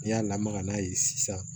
N'i y'a lamaga n'a ye sisan